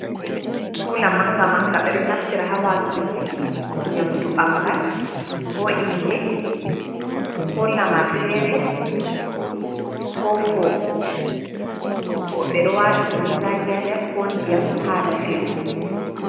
Kula manga manga ɓe ɗo naftira ha watuki nyamɗu, bangal ko inɗe ko lamar fere ko fofo, ɓo ɓe ɗo wata kunun zaki ha nɗer ko ɗiyam hala fewugo.